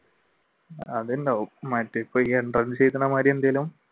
അതുണ്ടാവും മറ്റേ ഇപ്പ entrance എഴുതണ മാതിരി എന്തെങ്കിലും